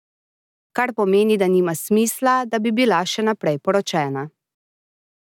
Kar pomeni, da nima smisla, da bi bila še naprej poročena.